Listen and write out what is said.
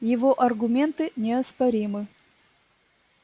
его аргументы неоспоримы